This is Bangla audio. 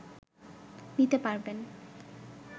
নিতে পারবেন